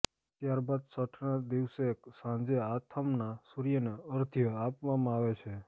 ત્યાર બાદ છઠના દિવસે સાંજે આથમના સૂર્યને અર્ધ્ય આપવામાં આવે છે